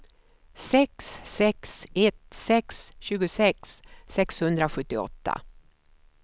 sex sex ett sex tjugosex sexhundrasjuttioåtta